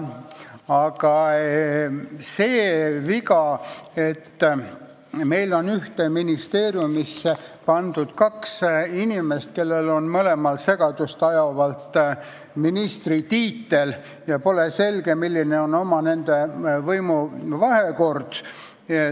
Aga see on viga, et meil on ühte ministeeriumisse pandud kaks inimest, kellel on mõlemal segadust tekitavalt ministritiitel, ja pole selge, milline on nende omavaheline võimuvahekord.